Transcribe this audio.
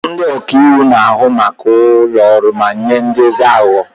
Ndị ọka iwu na-ahụ maka ụlọ ọrụ ma nye nduzi aghụghọ.